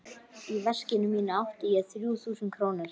Í veskinu mínu átti ég þrjú þúsund krónur.